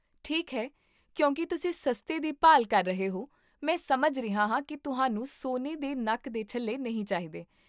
ਠੀਕ ਹੈ, ਕਿਉਂਕਿ ਤੁਸੀਂ ਸਸਤੇ ਦੀ ਭਾਲ ਕਰ ਰਹੇ ਹੋ, ਮੈਂ ਸਮਝ ਰਿਹਾ ਹਾਂ ਕੀ ਤੁਹਾਨੂੰ ਸੋਨੇ ਦੇ ਨੱਕ ਦੇ ਛੱਲੇ ਨਹੀਂ ਚਾਹੀਦੇ